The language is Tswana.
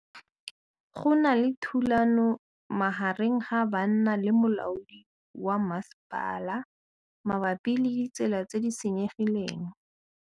Go na le thulanô magareng ga banna le molaodi wa masepala mabapi le ditsela tse di senyegileng.